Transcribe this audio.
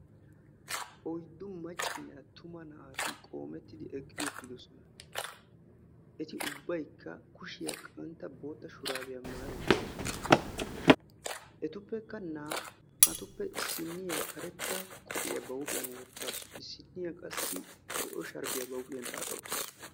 Oydi maccanne attuma naati qoommettidi eqqi uttidosona. Eti ubbaykka kushiyan qantta boottaa shurabiyaa maayi uttidosona. Etuppekka naa'atuppe issiniyaa karetta qophiyaa huuphphiyan wottasu. Issiniya qassi zo'o sharbbiyaa huuphphiyaan xaaxa uttasu.